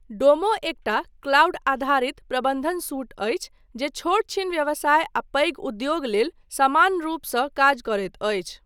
डोमो एकटा क्लाउड आधारित प्रबन्धन सूट अछि जे छोट छीन व्यवसाय आ पैघ उद्योग लेल समान रूपसँ काज करैत अछि।